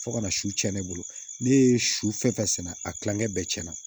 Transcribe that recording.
Fo ka na su tiɲɛn ne bolo ne ye su fɛn fɛn sɛnɛ a kilankɛ bɛɛ cɛn na